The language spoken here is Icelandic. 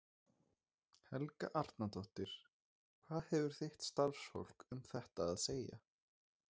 Helga Arnardóttir: Hvað hefur þitt starfsfólk um þetta að segja?